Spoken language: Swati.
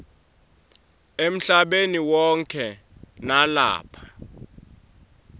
emhlabeni wonkhe nalapha